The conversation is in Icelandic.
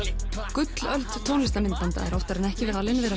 gullöld tónlistarmyndbanda er oftar en ekki talin vera